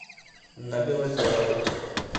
на белозерова